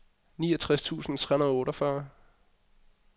niogtres tusind tre hundrede og otteogfyrre